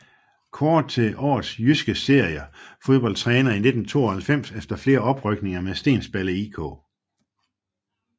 Kåret til Årets Jyske Serie Fodboldtræner i 1992 efter flere oprykninger med Stensballe IK